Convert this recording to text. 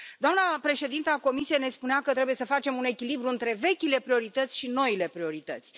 Doamna președintă a Comisiei ne spunea că trebuie să facem un echilibru între vechile priorități și noile priorități.